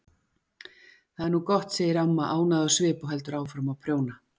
Það er nú gott, segir amma ánægð á svip og heldur áfram að prjóna.